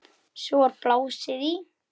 Fram undan sé bara bjart.